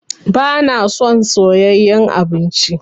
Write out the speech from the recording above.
Ba na son soyayen abinci